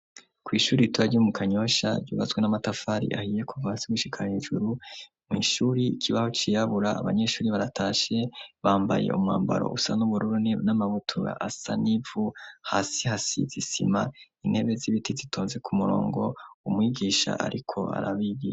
Kw'ishuri ritoya ryo mu kanyosha byubazwe n'amatafari ahiye kuvasi wishikana ijuru mu ishuri ikibaho ciyabura abanyeshuri baratashe bambaye umwambaro usa n'ubururuni n'amabutur asanivu hasi hasi zisima intebe z'ibiti zitonze ku murongo u mwigisha ariko arabigiye.